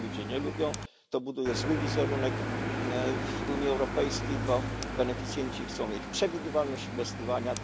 Tego ludzie nie lubią, to buduje zły wizerunek w Unii Europejskiej, bo beneficjenci chcą mieć przewidywalność inwestowania.